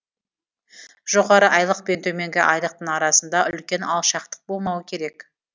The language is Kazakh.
жоғары айлық пен төменгі айлықтың арасында үлкен алшақтық болмауы керек